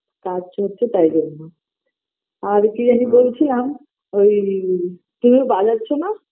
কাজ চলছে তাই জন্য আর কি জেনি বলছিলাম ওই কেউ বাজাচ্ছো না